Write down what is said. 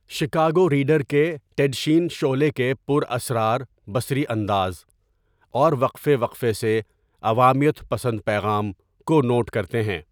Chicago Reader کے Ted Shen Sholay کے 'پراسرار بصری انداز' اور وقفے وقفے سے 'عوامیت پسند پیغام' کو نوٹ کرتے ہیں۔